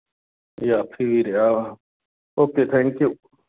ਜਾਫ਼ੀ ਵੀ ਰਿਹਾ ਉਹ। ok thank you